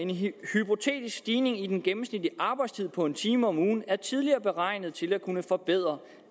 hypotetisk stigning i den gennemsnitlige arbejdstid på en time om ugen er tidligere beregnet til at kunne forbedre